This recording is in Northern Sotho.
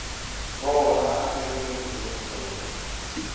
bona a dirile eng gona